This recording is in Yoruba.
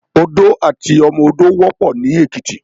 Odó àti ọmọ odó wòpò ni Ekiti